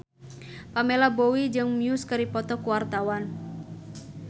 Pamela Bowie jeung Muse keur dipoto ku wartawan